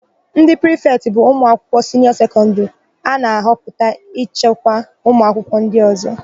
Ndị prịfetị bụ ụmụakwụkwọ siniọ sekọndịrị a na-ahọpụta ịchịkwa ụmụakwụkwọ ndị ọ̀zọ́.